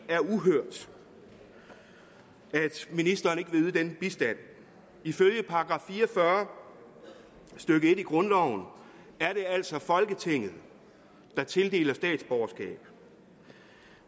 er uhørt at ministeren ikke vil yde den bistand ifølge § fire og fyrre stykke en i grundloven er det altså folketinget der tildeler statsborgerskab